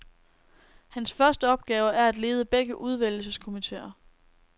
Hans første opgave er at lede begge udvælgelseskomitéer.